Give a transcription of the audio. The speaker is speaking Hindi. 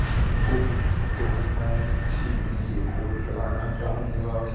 भी होगी तो मैं इसीलिए कोट लगाना चाहूंगा।